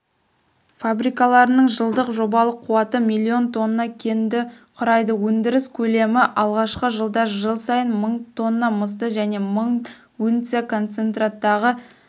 фабрикаларының жылдық жобалық қуаты миллион тонна кенді құрайды өндіріс көлемі алғашқы жылда жыл сайын мың тонна мысты және мың унция концентраттағы